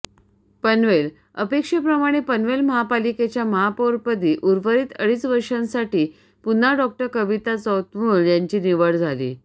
पनवेलः अपेक्षेप्रमाणे पनवेल महापालिकेच्या महापौरपदी उर्वरित अडीच वर्षांसाठी पुन्हा डॉ कविता चौतमोल यांची निवड झाली